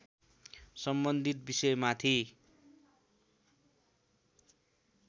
सम्बन्धित विषयमाथि